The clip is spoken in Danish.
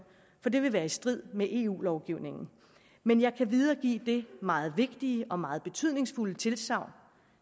for det vil være i strid med eu lovgivningen men jeg kan videregive det meget vigtige og meget betydningsfulde tilsagn